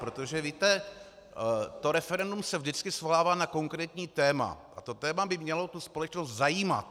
Protože víte, to referendum se vždycky svolává na konkrétní téma a to téma by mělo tu společnost zajímat.